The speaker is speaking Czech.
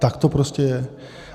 Tak to prostě je.